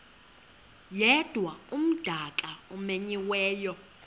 yedwa umdaka omenyiweyo